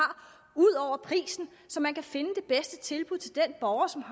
så man kan finde det bedste tilbud til den borger som